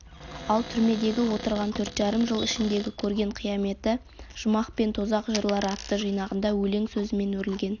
ал түрмедегі отырған төрт жарым жыл ішіндегі көрген қияметі жұмақ пен тозақ жырлары атты жинағында өлең сөзімен өрілген